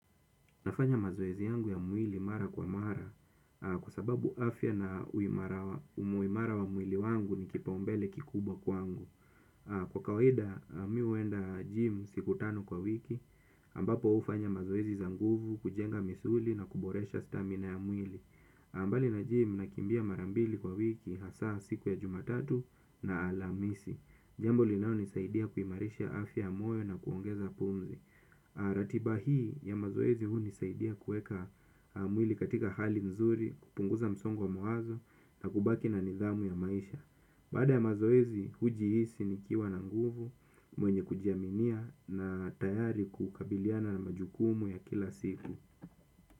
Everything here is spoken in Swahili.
Nafanya mazoezi yangu ya mwili mara kwa mara kwa sababu afya na umuimara wa mwili wangu ni kipaumbele kikubwa kwangu. Kwa kawaida mi huenda gym siku tano kwa wiki ambapo hufanya mazoezi zanguvu kujenga misuli na kuboresha stamina ya mwili. Ambali na gym nakimbia marambili kwa wiki hasa siku ya jumatatu na alhamisi. Jambo linalonisaidia kuimarisha afya ya moyo nakuongeza umri. Ratiba hii ya mazoezi hunisaidia kuweka mwili katika hali mzuri kupunguza msongo wamawazo na kubaki na nidhamu ya maisha. Baada ya mazoezi hujiisi nikiwa na nguvu mwenye kujiaminia na tayari kukabiliana na majukumu ya kila siku.